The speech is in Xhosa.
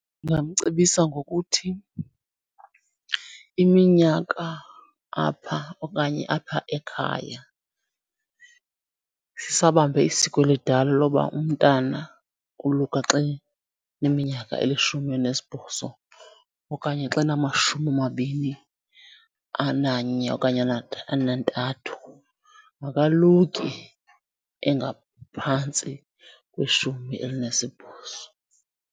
Ndingamcebisa ngokuthi iminyaka apha okanye apha ekhaya sisabambe isiko elidala loba umntana woluka xa eneminyaka elishumi elinesibhozo okanye xa enamashumi amabini ananye okanye anantathu, akaluki engaphantsi kweshumi elinesibhozo.